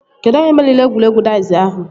Kedụ onye meriri egwuregwu daiz ahụ?